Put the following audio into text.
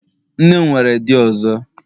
Nne m nwere di ọzọ